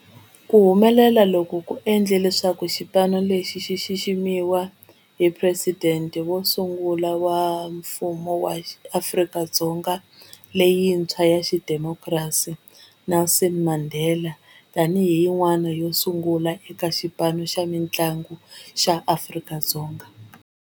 Ku humelela loku ku endle leswaku xipano lexi xi xiximiwa hi Presidente wo sungula wa Mfumo wa Afrika-Dzonga lerintshwa ra xidemokirasi, Nelson Mandela, yin'wana yo sungula eka xipano xa mintlangu xa Afrika-Dzonga.